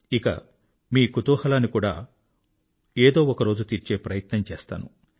ఇక మీ కుతూహలాన్ని కూడా ఒకరోజు తీర్చే ప్రయత్నం చేస్తాను